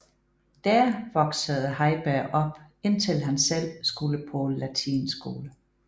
Der voksede Heiberg op indtil han selv skulle på latinskole